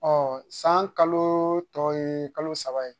Ɔ san kalo tɔ ye kalo saba ye